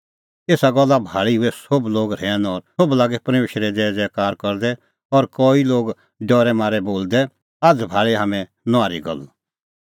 एसा गल्ला भाल़ी हुऐ सोभ लोग रहैन और सोभ लागै परमेशरे ज़ैज़ैकारा करदै और कई लागै डरै मारै बोलदै आझ़ भाल़ी हाम्हैं नुआहरी गल्ल